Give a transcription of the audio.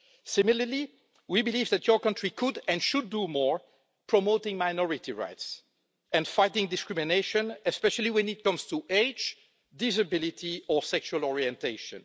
Similarly, we believe that your country could and should do more to promote minority rights and fight discrimination, especially when it comes to age, disability or sexual orientation.